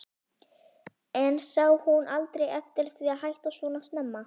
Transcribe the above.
En sá hún aldrei eftir því að hætta svona snemma?